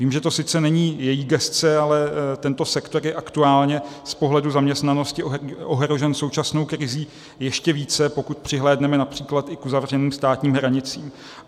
Vím, že to sice není její gesce, ale tento sektor je aktuálně z pohledu zaměstnanosti ohrožen současnou krizí ještě více, pokud přihlédneme například i k uzavřeným státním hranicím.